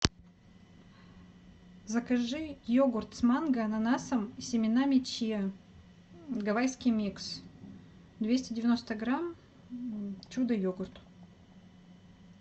закажи йогурт с манго ананасом и семенами чиа гавайский микс двести девяносто грамм чудо йогурт